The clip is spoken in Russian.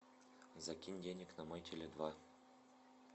закинь денег на мой теле два